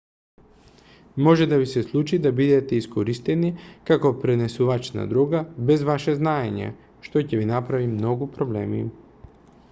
може да ви се случи да бидете искористени како пренесувач на дрога без ваше знаење што ќе ви направи многу проблеми